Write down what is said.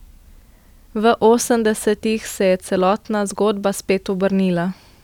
V osemdesetih se je celotna zgodba spet obrnila.